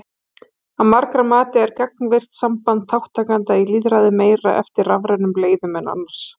Að margra mati er gagnvirkt samband þátttakenda í lýðræði meira eftir rafrænum leiðum en annars.